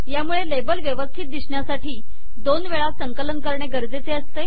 यामूळे लेबल वेवस्थित दिसण्यासाठी दोन वेळा संकलन करणे गरजेचे असते